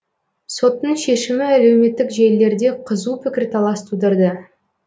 соттың шешімі әлеуметтік желілерде қызу пікірталас тудырды